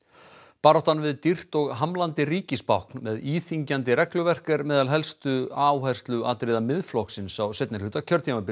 baráttan við dýrt og hamlandi ríkisbákn með íþyngjandi regluverk er meðal helstu áhersluatriða Miðflokksins á seinni hluta kjörtímabilsins